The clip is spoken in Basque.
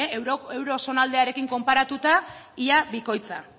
euro zonaldearekin konparatuta ia bikoitza